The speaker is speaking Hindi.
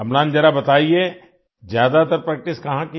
अम्लान जरा बताइए ज्यादातर प्रैक्टिस कहाँ की